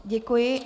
Děkuji.